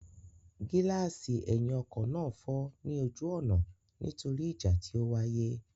Gíláàsì ẹ̀yìn ọkọ náà fọ́ ní ojú ọ̀nà nítorí ìjà tí ó wáyé.